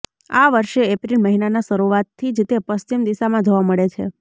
આ વર્ષે એપ્રિલ મહિનાના શરુઆતથી જ તે પશ્ચિમ દિશામાં જોવા મળે છે